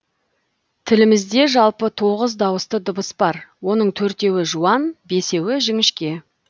тілімізде жалпы тоғыз дауысты дыбыс бар оның төртеуі жуан бесеуі жіңішке